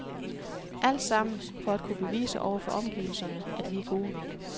Alt sammen for at kunne bevise over for omgivelserne at vi er gode nok.